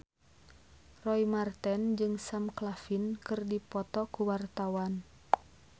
Roy Marten jeung Sam Claflin keur dipoto ku wartawan